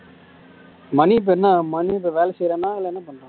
மணி இப்ப என்ன மணி இப்ப என்ன வேலை செய்றானா இல்ல